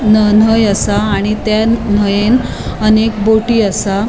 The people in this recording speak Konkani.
न नय आसाआणि त्या नयेन अनेक बोटी आसा.